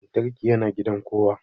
Lantarki yana gidan kowa